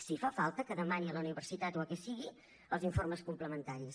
si fa falta que demani a la universitat o a qui sigui els informes complementaris